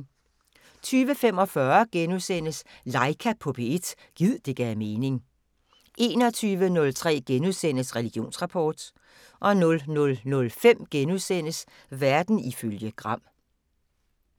20:45: Laika på P1 – gid det gav mening * 21:03: Religionsrapport * 00:05: Verden ifølge Gram *